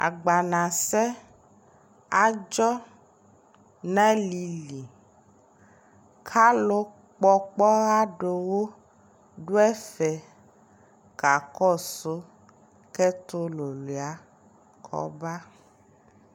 agbana sɛ adzɔ nʋ alili kʋ alʋ kpɔ ɔkpɔa dʋwʋ dʋ ɛƒɛ kakɔsʋ kʋ ɛtʋ wɔwlia kɔba